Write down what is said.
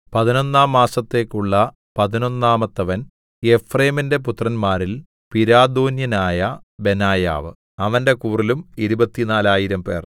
പതിനൊന്നാം മാസത്തേക്കുള്ള പതിനൊന്നാമത്തവൻ എഫ്രയീമിന്റെ പുത്രന്മാരിൽ പിരാഥോന്യനായ ബെനായാവ് അവന്റെ കൂറിലും ഇരുപത്തിനാലായിരംപേർ 24000